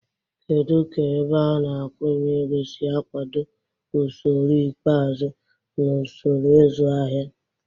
Kedu ka ebeana-akwụnyeego si akwado usoro ikpeazụ na usoro ịzụ ahịa?